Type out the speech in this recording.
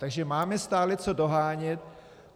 Takže máme stále co dohánět.